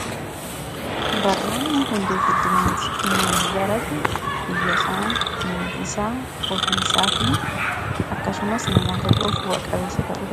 Barnoonni hundee guddinaa ti. Namni barate biyyasaa ,maatiisaa , ofiisaa fi akkasumas namoota kan biroof bu'a-qabeessa ta'uu dan....